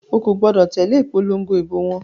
O kò gbọdọ̀ tẹ̀lé ìpòlongo ìbò wọn.